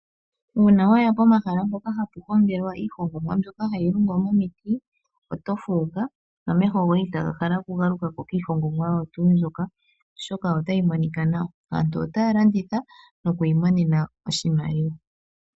Uuna waya pomahala mpoka hapu hongelwa iihongomwa mbyoka hayi longwa momiti oto fuuka nomeho goye itaga hala oku galukako kiihongomwa oyo tuu mbyoka, oshoka ota yi monika nawa. Aantu otaya landitha noku imonena oshimaliwa.